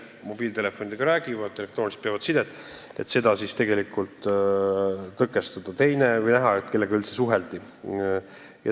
Need inimesed räägivad mobiiltelefonidega ja peavad sidet elektrooniliselt, kuid on probleeme selle tõkestamisega või selle nägemisega, kellega üldse suheldi.